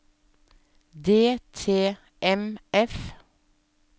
DTMF